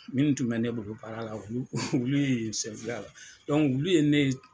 Minnu tun bɛ ne bolo baara la olu ye la ye ne ye.